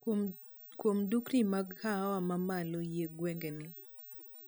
Kwuom dukni mag kahawa mamalo eiy gweng'ni